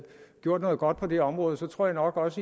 gjort noget godt på det område tror jeg nok også